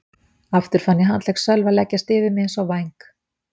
Aftur fann ég handlegg Sölva leggjast yfir mig eins og væng.